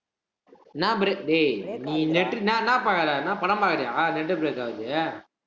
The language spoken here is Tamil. என்னா bre~ டேய் நீ net ன்னா, என்ன பார்க்குற என்ன படம் பார்க்கிறியா net break ஆகுது